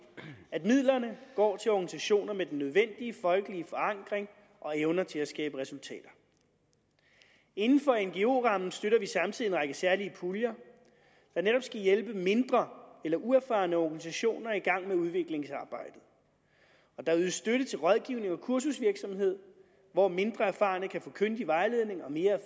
at midlerne går til organisationer med den nødvendige folkelige forankring og evner til at skabe resultater inden for ngo rammen støtter vi samtidig en række særlige puljer der netop skal hjælpe mindre eller uerfarne organisationer i gang med udviklingsarbejdet der ydes støtte til rådgivning og kursusvirksomhed hvor mindre erfarne kan få kyndig vejledning og mere